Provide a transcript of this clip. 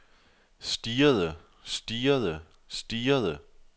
stirrede stirrede stirrede